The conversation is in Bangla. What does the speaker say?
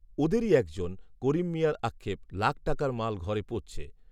ওঁদেরই এক জন, করিম মিঞার আক্ষেপ, লাখ টাকার মাল ঘরে পচছে